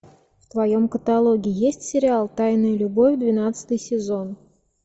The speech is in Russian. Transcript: в твоем каталоге есть сериал тайная любовь двенадцатый сезон